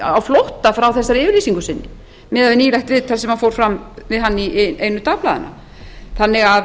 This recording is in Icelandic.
á flótta frá þessari yfirlýsingu sinni miðað við nýlegt viðtal sem fór fram við hann í einu dagblaðanna þannig að